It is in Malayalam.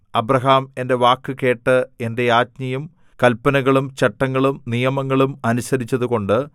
അബ്രാഹാം എന്റെ വാക്കുകേട്ട് എന്റെ ആജ്ഞയും കല്പനകളും ചട്ടങ്ങളും നിയമങ്ങളും അനുസരിച്ചതുകൊണ്ട്